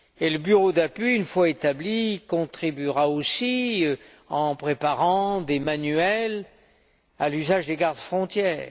Le Bureau d'appui, une fois établi, y contribuera aussi, en préparant des manuels à l'usage des gardes frontières.